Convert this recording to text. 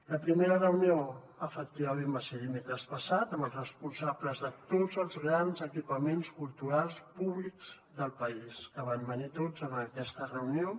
la primera reunió efectivament va ser dimecres passat amb els responsables de tots els grans equipaments culturals públics del país que van venir tots en aquesta reunió